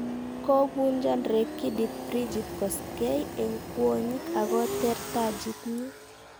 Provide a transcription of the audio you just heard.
Kobunchan rekidit Bridgit Koskei enh kwonyik akoteer tajiit nyi